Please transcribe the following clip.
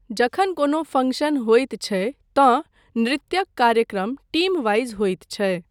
जखन कोनो फङ्क्शन होइत छै तँ नृत्यक कार्यक्रम टीम वाइज होइत छै।